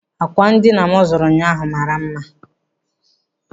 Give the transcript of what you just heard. Ákwà ndịna m zụrụ ụnyaahụ mara mma.